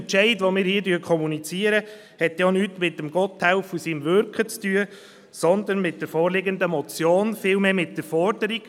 Unser Entscheid, den wir hier kommunizieren, hat denn auch nichts mit Gotthelf und seinem Wirken zu tun, sondern mit der vorliegenden Motion, vielmehr mit der Forderung.